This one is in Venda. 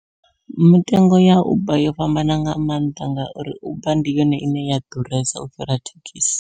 Mitengo ya uber yo fhambana nga maanḓa ngauri uber ndi yone ine ya ḓuresa u fhira thekhisi.